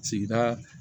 Sigida